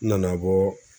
N nana bɔ